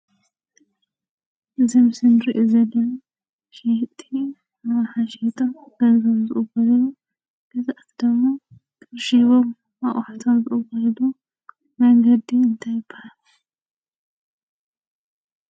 እዚ ምስሊ ንሪኦ ዘለና ሸየጥቲ ኣቕሓ ሸይጦም ገንዘቦም ዝቕበልሉ ገዛእቲ ድማ ቅርሺ ሂቦም ኣቑሑቶም ዝቕበልሉ መንገዲ እንታይ ይባሃል?